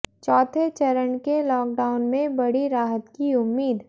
चौथे चरण के लॉकडाउन में बड़ी राहत की उम्मीद